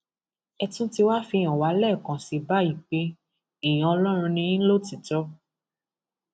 ẹ tún ti wáá fi hàn wá lẹẹkan sí i báyìí pé èèyàn ọlọrun ni yín lótìítọ